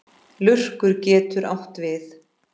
Lurkur getur átt við